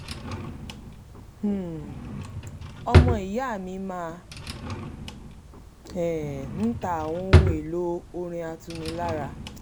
um ọmọ ìya mi máa um ń ta àwọn ohun èlò ọrin atunilára